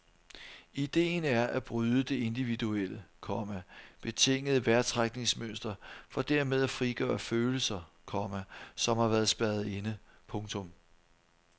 Idéen er at bryde det individuelle, komma betingede vejrtrækningsmønster for dermed at frigøre følelser, komma som har været spærret inde. punktum